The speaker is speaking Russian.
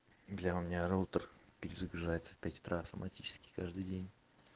бля у меня роутер перезагружается в пять утра автоматически каждый день